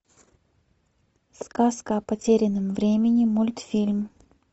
сказка о потерянном времени мультфильм